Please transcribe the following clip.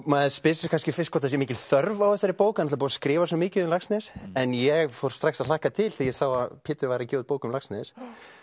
maður spyr sig kannski fyrst hvort sé mikil þörf á þessari bók það er búið að skrifa svo mikið um Laxness en ég fór strax að hlakka til þegar ég sá að Pétur var að gefa út bók um Laxness